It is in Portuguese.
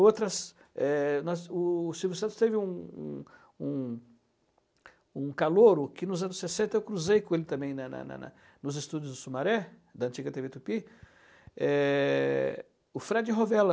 outras, é nós o o Silvio Santos teve um um um um calouro que nos anos sessenta eu cruzei com ele também na na na nos estúdios do Sumaré, da antiga tê vê Tupi, é, o Fred Rovella.